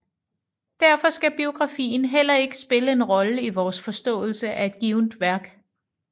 Derfor skal biografien heller ikke spille en rolle i vores forståelse af et givent værk